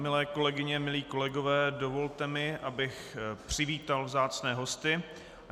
Milé kolegyně, milí kolegové, dovolte mi, abych přivítal vzácné hosty.